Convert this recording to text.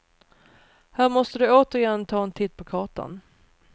Här måste du återigen ta en titt på kartan.